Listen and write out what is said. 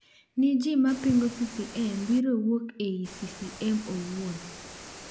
Ni ji mapingo CCM biro wuok ei CCM owuon.